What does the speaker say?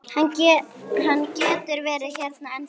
Hann getur verið hérna ennþá.